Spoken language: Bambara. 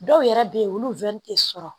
Dɔw yɛrɛ bɛ yen olu tɛ sɔrɔ